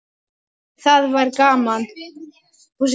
En það var gaman.